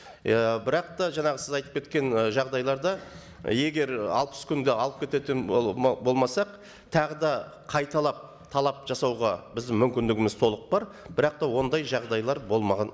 иә бірақ та жаңағы сіз айтып кеткен і жағдайларда егер алпыс күнде алып кететін болмасақ тағы да қайталап талап жасауға біздің мүмкіндігіміз толық бар бірақ та ондай жағдайлар болмаған